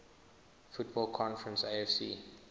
football conference afc